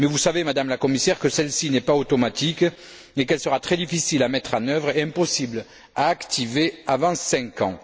Or, vous savez, Madame la Commissaire, que celle ci n'est pas automatique et qu'elle sera très difficile à mettre en œuvre et impossible à activer avant cinq ans.